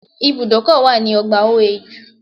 There is a bus stop on OAU campus